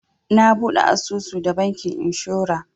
Na buɗe asusu da bankin inshora.